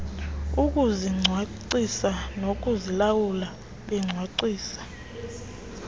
ukuzicwangcisa nokuzilawula becwangcisa